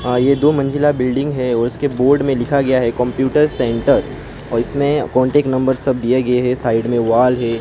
हां ये दो मंजिला बिल्डिंग है और इसके बोर्ड में लिखा गया है कंप्यूटर सेंटर और इसमें कॉन्टैक्ट नंबर सब दिए गए है साइड में वॉल है।